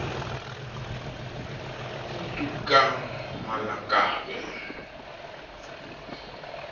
otukang malakabe a maholo a